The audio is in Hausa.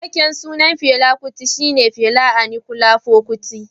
Cikakken sunan Fela kuti shi ne Fela Aníkúlápó Kuti.